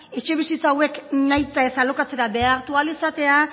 etxebizitza hauek nahita ez alokatzera behartu ahal izatea